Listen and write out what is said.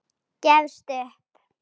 Gefst upp.